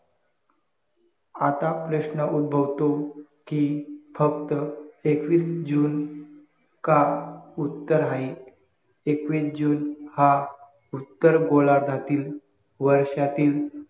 आता प्रश्न उद्भवतो कि फक्त एकवीस JUNE का उत्तर हाये एकवीस JUNE हा ऊत्तर गोलार्धातील वर्षातील